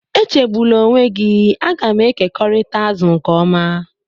Echegbula onwe gị, a ga m ekekọrịta azụ nke ọma